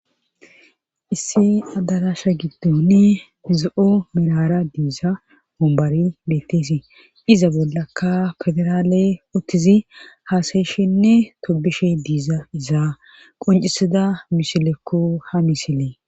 issi adarasha giddoni zo7o merara diiza wombari betteesi iza bollakka federaaley ottizi haasayeshinne tobishe diiza izaa qoncisida misilekko ha misilee